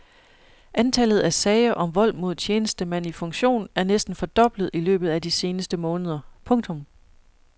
Antallet af sager om vold mod tjenestemand i funktion er næsten fordoblet i løbet af de seneste måneder. punktum